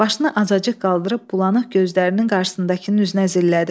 Başını azacıq qaldırıb bulanıq gözlərinin qarşısındakının üzünə zillədi.